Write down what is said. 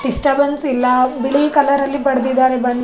disturbance ಇಲ್ಲ ಬಿಳಿ ಕಲರಲ್ಲಿ ಬಡ್ದಿದಾರೆ ಬಣ್ಣ --